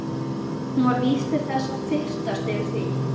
Hún var vís til þess að fyrtast yfir því.